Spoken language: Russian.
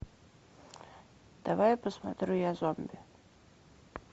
давай посмотрю я зомби